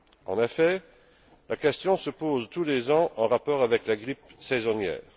En effet, la question se pose tous les ans en rapport avec la grippe saisonnière.